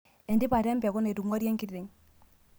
Entipat empekuu naitung'ari enkiteng'.